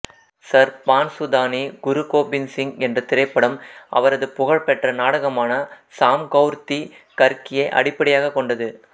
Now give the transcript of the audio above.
சர்பான்சுதானி குரு கோபிந்த் சிங் என்ற திரைப்படம் அவரது புகழ்பெற்ற நாடகமான சாம்கௌர் தி கர்கியை அடிப்படையாகக் கொண்டது